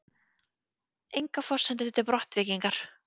Engar forsendur til brottvikningar